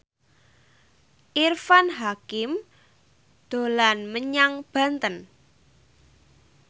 Irfan Hakim dolan menyang Banten